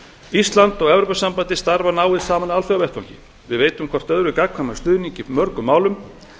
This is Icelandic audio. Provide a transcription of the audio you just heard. ísland og evrópusambandið starfa náið saman á alþjóðavettvangi við veitum hvort öðru gagnkvæman stuðning í mörgum málum